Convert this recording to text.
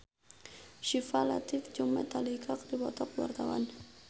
Syifa Latief jeung Metallica keur dipoto ku wartawan